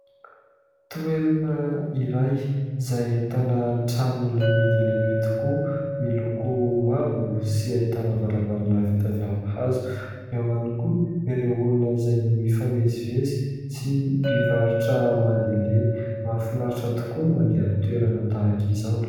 Toerana iray izay ahitana trano lehibe dia lehibe tokoa. Miloko mavo sy ahitana varavarana vita avy amin'ny hazo. Eo ihany koa ireo olona izay mifamezivezy sy mpivarotra mandehandeha. Mahafinaritra tokoa ny mandeha amin'ny toerana tahaka izao.